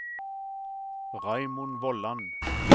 Raymond Vollan